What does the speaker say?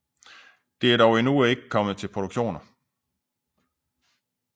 Det er dog endnu ikke kommet til produktioner